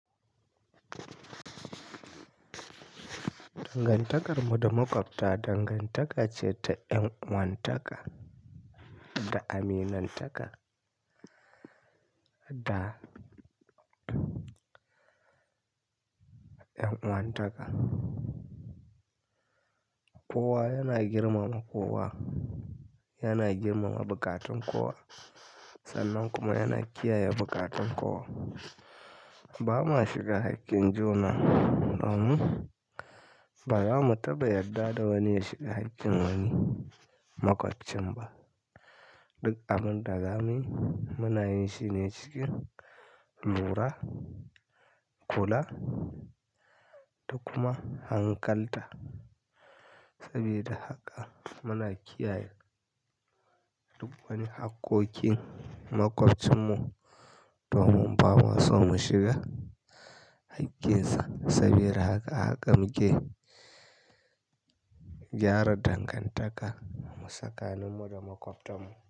Dangantakar mu da maƙwabta dangantaka ce ta ƴan'uwantaka da aminantaka da, ƴan'uwantaka. Kowa yana girmama kowa, yana girmama buƙatun kowa sannan kuma yana kiyaye buƙatun kowa. Ba ma shiga haƙƙin juna, domin ba za mu taba yadda da wani ya shiga haƙƙin wani maƙoccin ba. Duk abyn da zamui muna yin shi ne cikin lura, kula da kuma hankalta. Sabida haka muna kiyaye duk wani haƙƙoƙin maƙwabcinmu domin ba ma son mu shiga haƙƙinsa. Sabida haka haka muke gyara dangantaka mu sakanin mu da maƙwabtan mu.